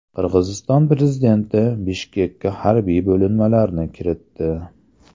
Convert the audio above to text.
Qirg‘iziston prezidenti Bishkekka harbiy bo‘linmalarni kiritdi.